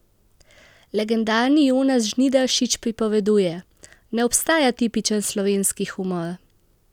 Legendarni Jonas Žnidaršič pripoveduje: "Ne obstaja tipičen slovenski humor.